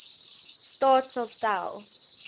staat sal stel